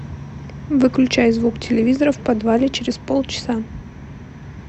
выключай звук телевизора в подвале через полчаса